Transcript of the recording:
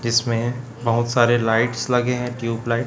जीसमें बहुत सारे लाइट्स लगे हैं ट्यूबलाइट --